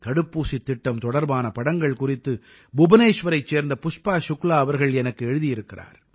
தடுப்பூசித் திட்டம் தொடர்பான படங்கள் குறித்து புபனேஷ்வரைச் சேர்ந்த புஷ்பா ஷுக்லா அவர்கள் எனக்கு எழுதியிருக்கிறார்